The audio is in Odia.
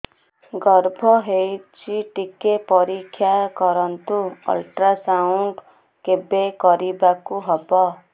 ଗର୍ଭ ହେଇଚି ଟିକେ ପରିକ୍ଷା କରନ୍ତୁ ଅଲଟ୍ରାସାଉଣ୍ଡ କେବେ କରିବାକୁ ହବ